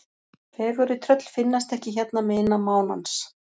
Fegurri tröll finnast ekki hérna megin mánans.